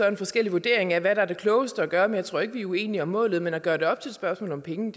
en forskellig vurdering af hvad der er det klogeste at gøre men jeg tror ikke vi er uenige om målet men at gøre det op i et spørgsmål om penge